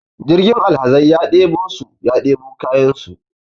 jirgin alhazai ya debo su ya debo kayansu